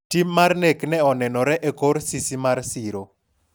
tim mar nek ne onenore e kor sisi mar siro